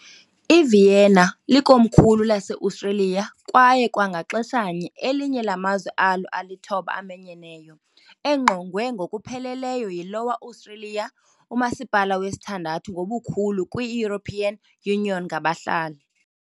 IVienna, ngesiJamani "Wien", e Austro- Bavarian "Wean", e "Bécs" Hungarian, e Slovenian "Dunaj", likomkhulu laseAustria kwaye kwangaxeshanye elinye lamazwe alo alithoba amanyeneyo, engqongwe ngokupheleleyo yiLower Austria, umasipala wesithandathu ngobukhulu kwi -European Union ngabahlali.